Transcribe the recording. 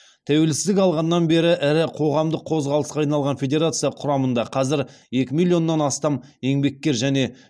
тәуелсіздік алғаннан бері ірі қоғамдық қозғалысқа айналған федерация құрамында қазір екі миллионнан астам еңбеккер және